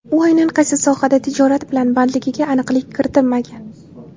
U aynan qaysi sohada tijorat bilan bandligiga aniqlik kiritilmagan.